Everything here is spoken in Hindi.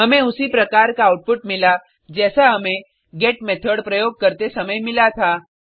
हमें उसी प्रकार का आउटपुट मिला जैसा हमें गेट मेथड प्रयोग करते समय मिला था